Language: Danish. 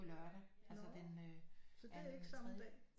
På lørdag altså den anden tredje